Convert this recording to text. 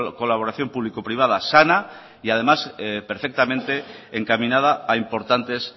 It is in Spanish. colaboración público privada sana y además perfectamente encaminada a importantes